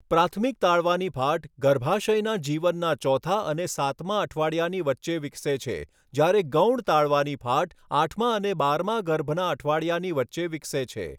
પ્રાથમિક તાળવાની ફાટ ગર્ભાશયના જીવનના ચોથા અને સાતમા અઠવાડિયાની વચ્ચે વિકસે છે, જ્યારે ગૌણ તાળવાની ફાટ આઠમા અને બારમા ગર્ભના અઠવાડિયાની વચ્ચે વિકસે છે.